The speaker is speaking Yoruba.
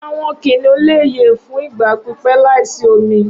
Awọn kiniun le ye fun igba pipẹ laisi omi.